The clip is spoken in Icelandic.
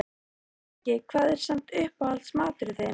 Breki: Hvað er samt uppáhalds maturinn þinn?